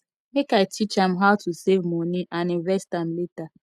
make i teach am how to save moni and invest am later